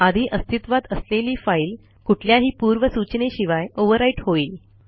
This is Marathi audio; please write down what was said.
आधी अस्तित्वात असलेली फाईल कुठल्याही पूर्वसूचनेशिवाय overwriteहोईल